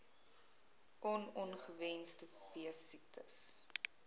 on ongewenste veesiektes